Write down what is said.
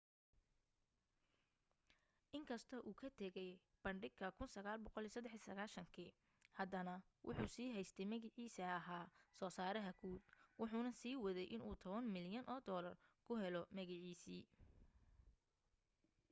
in kastoo uu ka tegay bandhiga 1993 haddana wuu sii haystay magaciisa ah soo saaraha guud wuxuna sii waday inuu tobaan milyan oo doolar ku helo magaciisii